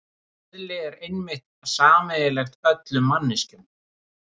Eðli er einmitt sameiginlegt öllum manneskjum.